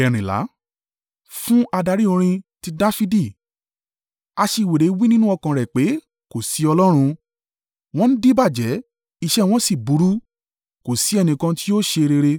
Fún adarí orin. Ti Dafidi. Aṣiwèrè wí nínú ọkàn rẹ̀ pé, “Ko sí Ọlọ́run.” Wọ́n díbàjẹ́, iṣẹ́ wọn sì burú; kò sí ẹnìkan tí yóò ṣe rere.